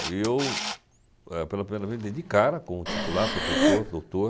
E eu, eh, pela primeira vez, dei de cara com o titular, professor, doutor,